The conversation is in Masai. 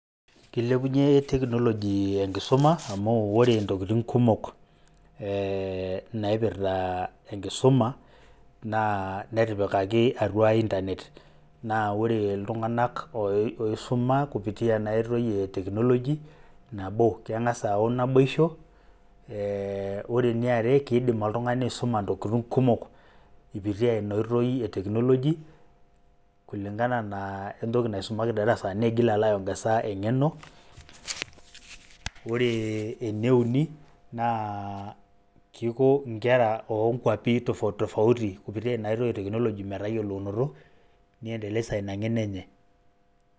Kilepunye teknoloji enkisuma amu ore ntokitin kumok ee naipirta enkisuma naa netipikaki atua intanet naa ore iltung'anak oisuma kupitia ena oitoi e teknoloji nabo; keng'asa ayau naboisho, ore eniare kidim oltung'ani aisuma ntokitin kumok ipitia ina oitoi e teknoloji [kulingana na we ntoki naisumaki te darasa nigil alo ai ongeza eng'eno. Ore ene uni kiko nkera o nkuapi tofauti tofauti kupitia ina oitoi e teknoloji metayolounoto, ni endeleza ina ng'eno enye.